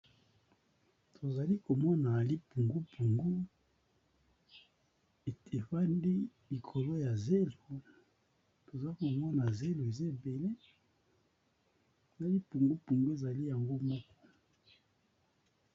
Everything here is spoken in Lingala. Tozali komona lipungupungu evandi likolo ya zelo toza komona zelo eza ebele na lipungupungu ezali yango moko.